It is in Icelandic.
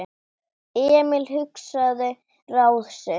Emil hugsaði ráð sitt.